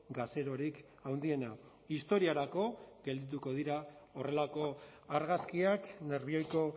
gazerorik handiena historiarako geldituko dira horrelako argazkiak nerbioiko